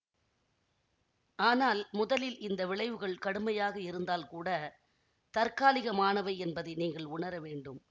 ஆனால் முதலில் இந்த விளைவுகள் கடுமையாக இருந்தால் கூட தற்காலிகமானவை என்பதை நீங்கள் உணர வேண்டும்